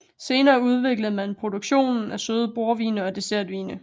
Senere udviklede man produktionen af søde bordvine og dessertvine